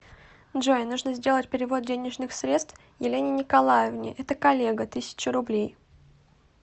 джой нужно сделать перевод денежных средств елене николаевне это коллега тысяча рублей